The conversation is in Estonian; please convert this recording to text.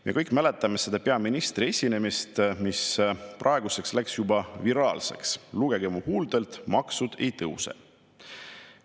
Me kõik mäletame peaministri esinemist, mis praeguseks on saanud juba viraalseks: "Lugege mu huultelt: maksud ei tõuse!